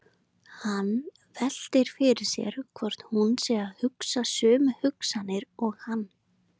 Hann veltir fyrir sér hvort hún sé að hugsa sömu hugsanir og hann.